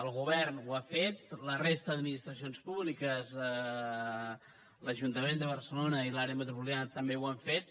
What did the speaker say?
el govern ho ha fet la resta d’administracions públiques l’ajuntament de barcelona i l’àrea metropolitana també ho han fet